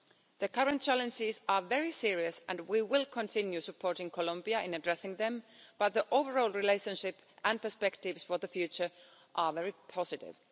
The current challenges are very serious and we will continue supporting Colombia in addressing them, but the overall relationship and perspectives for the future are very positive.